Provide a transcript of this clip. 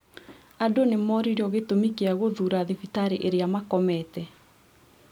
Andũ nĩmoririo gĩtũmi kĩa gũthũra thibitarĩ ĩrĩa makomete